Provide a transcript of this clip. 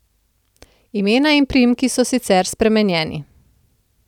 Imena in priimki so sicer spremenjeni.